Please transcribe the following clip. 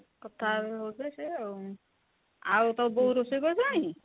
କଥା ହେବେ ବୋଧେ ସେ ଆଉ ,ଆଉ ତୋ ବୋଉ ରୋଷେଇ କଲାଣି